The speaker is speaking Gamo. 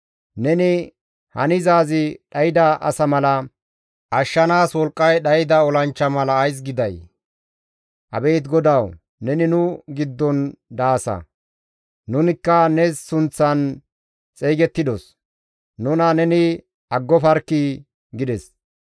Neni hanizaazi dhayda asa mala, ashshanaas wolqqay dhayda olanchcha mala ays giday? Abeet GODAWU! Neni nu giddon daasa; nunikka ne sunththan xeygettidos; nuna neni aggofarkkii!» gides.